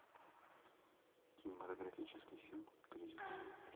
кинематографический фильм кризис